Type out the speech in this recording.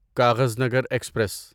Kaghaznagar express